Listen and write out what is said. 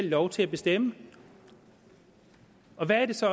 lov til at bestemme hvad er det så